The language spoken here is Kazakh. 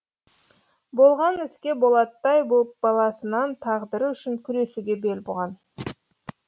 болған іске болаттай боп баласынан тағдыры үшін күресуге бел буған